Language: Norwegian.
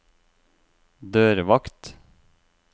dørvakt